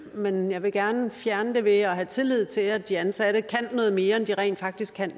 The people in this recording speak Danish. men jeg vil gerne fjerne det ved at have tillid til at de ansatte kan noget mere end de rent faktisk kan